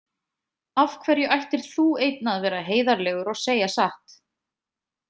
Af hverju ættir þú einn að vera heiðarlegur og segja satt?